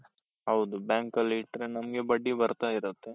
ಹೌದು bank ಅಲ್ಲಿ ಇಟ್ರೆ ನಮ್ಗೆ ಬಡ್ಡಿ ಬರ್ತಾ ಇರುತ್ತೆ.